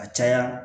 A caya